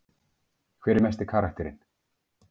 Hver er mesti karakterinn?